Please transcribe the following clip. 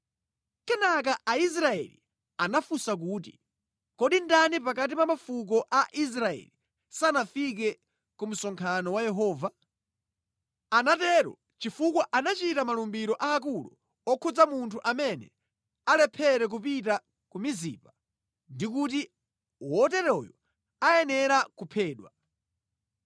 Kenaka Aisraeli anafunsa kuti, “Kodi ndani pakati pa mafuko a Israeli sanafike ku msonkhano wa Yehova?” Anatero chifukwa anachita malumbiro aakulu okhudza munthu amene alephere kupita ku Mizipa ndi kuti woteroyo ayenera kuphedwa.